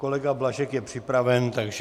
Kolega Blažek je připraven, takže...